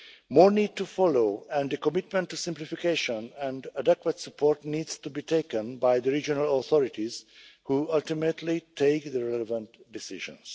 More need to follow, and a commitment to simplification and adequate support needs to be taken by the regional authorities who ultimately take the relevant decisions.